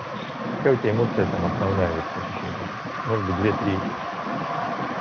какая у тебя эмоция там основная в этих ощущениях может быть две три этих